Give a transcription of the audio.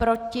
Proti?